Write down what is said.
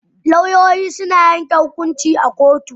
Lauyoyi suna yanke hukunci a kotu.